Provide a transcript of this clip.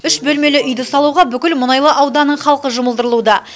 үш бөлмелі үйді салуға бүкіл мұнайлы ауданының халқы жұмылдырылуда